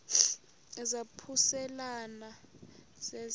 izaphuselana se zide